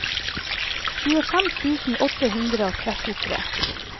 tjuefem tusen åtte hundre og trettitre